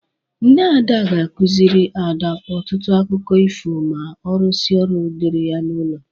Nne Ada ga-akụziri Ada ọtụtụ akụkọ ifo ma ọ rụsịa ọrụ dịrị ya n'ụlọ.